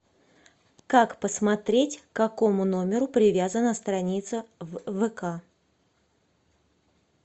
как посмотреть к какому номеру привязана страница в вк